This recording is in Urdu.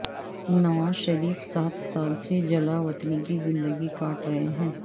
نواز شریف سات سال سے جلا وطنی کی زندگی کاٹ رہے ہیں